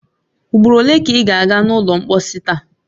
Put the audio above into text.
Ugboro ole ka ị ga a ga n’ụlọ mposi taa?